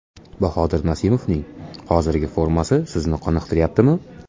Bahodir Nasimovning hozirgi formasi sizni qoniqtiryaptimi?